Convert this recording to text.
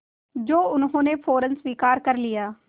जो उन्होंने फ़ौरन स्वीकार कर लिया